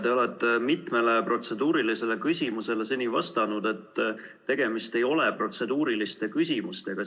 Te olete mitmele protseduurilisele küsimusele seni vastanud, et tegemist ei ole protseduuriliste küsimustega.